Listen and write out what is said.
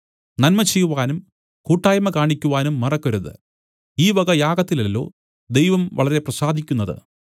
നന്മചെയ്‌വാനും കൂട്ടായ്മ കാണിക്കുവാനും മറക്കരുത് ഈ വക യാഗത്തിലല്ലോ ദൈവം വളരെ പ്രസാദിക്കുന്നത്